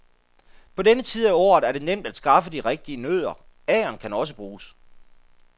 På denne tid af året er det nemt at skaffe de rigtige nødder, agern kan også bruges.